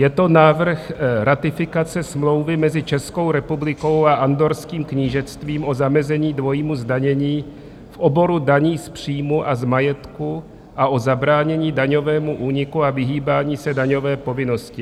Je to návrh ratifikace Smlouvy mezi Českou republikou a Andorrským knížectvím o zamezení dvojímu zdanění v oboru daní z příjmu a z majetku a o zabránění daňovému úniku a vyhýbání se daňové povinnosti.